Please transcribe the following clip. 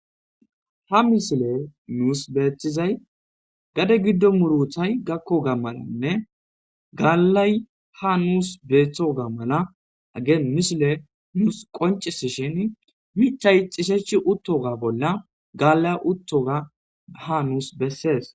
ha misile nuus beeththizay gade giddo muruthay gakko gammananne gaallay ha nuus beeththoga mala ageen mishile nuus qoncis shin michay xishechi uttoga bolla gaallay uttoga ha nuus bessees